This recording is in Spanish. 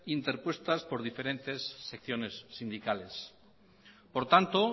interpuestas por diferentes secciones sindicales por tanto